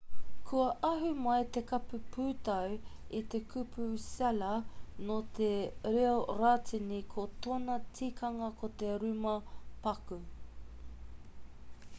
kua ahu mai te kupu pūtau i te kupu cella nō te reo rātini ko tōna tikanga ko te rūma paku